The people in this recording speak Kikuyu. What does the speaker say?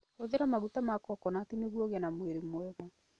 Hũthĩra maguta ma coconut nĩguo ũgĩe na mwĩrĩ mwega.